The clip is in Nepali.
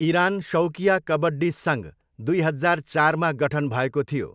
इरान शौकिया कबड्डी सङ्घ दुई हजार चारमा गठन भएको थियो।